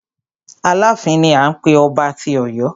Aláàfin ni à ń pé ọba tí Ọ̀yọ́.